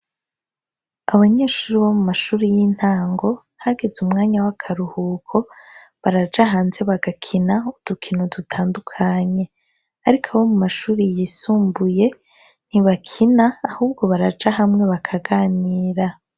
Abanyeshuri bo mu mashuri y'intango hageze umwanya w'akaruhuko baraja hanze bagakina udukino dutandukanye ariko abo mu mashuri yisumbuye ntibakina ahubwo baraja hamwe bakaganira.